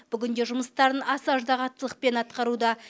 бүгінде жұмыстарын аса ыждахаттылықпен атқаруда